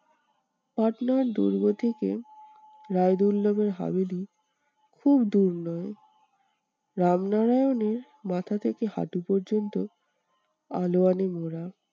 পাটনার দুর্গ থেকে রায়দুল্লবের খুব দূর নয়, রামনারায়ণের মাথা থেকে হাঁটু পর্যন্ত আলোয়ানে মোড়া।